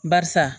Barisa